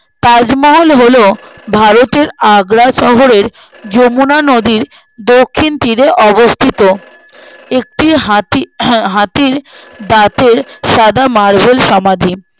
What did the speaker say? তাজমহল হলো ভারতের আগ্রা শহরের যমুনা নদীর দক্ষিণ তীরে অবস্থিত একটি হাতি হাতির দাঁতের সাদা marble সমাধি